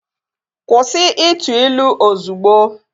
Kwụsị ịtụ ilu ozugbo!